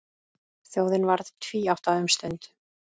Þjóðin varð tvíátta um stund.